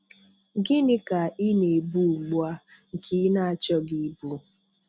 Gịnị ka ị na - ebu ugbua, nke ị na-achọghị ịbụ?.